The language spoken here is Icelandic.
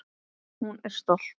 Hún er stolt.